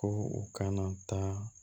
Ko u kana taa